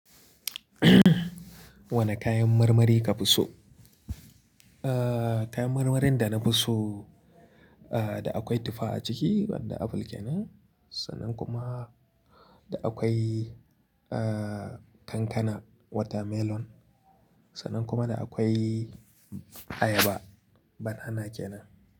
Wane kayan marmari ka fi so? Ah, kayan marmarin da na fi so, ah, da akwai tufa a ciki wanda apple kenan. Sannan kuma da akwai, ah, kankana watermelon. Sannan kuma da akwai ayaba banana kenan.